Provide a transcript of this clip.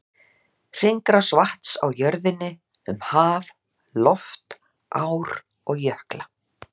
Hringrás vatns á jörðinni, um haf, loft, ár og jökla.